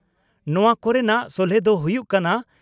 ᱱᱚᱣᱟ ᱠᱚᱨᱮᱱᱟᱜ ᱥᱚᱞᱦᱮ ᱫᱚ ᱦᱩᱭᱩᱜ ᱠᱟᱱᱟ